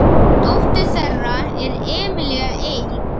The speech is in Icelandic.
Dóttir þeirra er Emilía Eik.